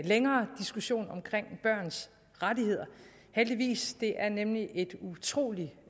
længere diskussion om børns rettigheder heldigvis det er nemlig et utrolig